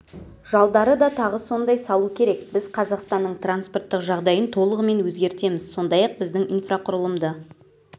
жалдары да тағы сондай салу керек біз қазақстанның транспорттық жағдайын толығымен өзгертеміз сондай-ақ біздің инфрақұрылымды